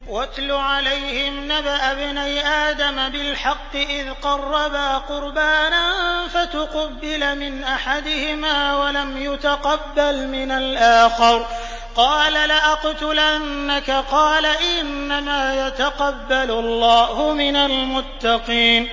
۞ وَاتْلُ عَلَيْهِمْ نَبَأَ ابْنَيْ آدَمَ بِالْحَقِّ إِذْ قَرَّبَا قُرْبَانًا فَتُقُبِّلَ مِنْ أَحَدِهِمَا وَلَمْ يُتَقَبَّلْ مِنَ الْآخَرِ قَالَ لَأَقْتُلَنَّكَ ۖ قَالَ إِنَّمَا يَتَقَبَّلُ اللَّهُ مِنَ الْمُتَّقِينَ